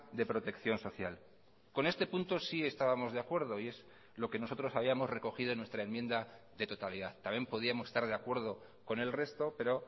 de protección social con este punto sí estábamos de acuerdo y es lo que nosotros habíamos recogido en nuestra enmienda de totalidad también podíamos estar de acuerdo con el resto pero